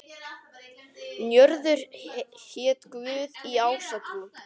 Njörður hét guð í ásatrú.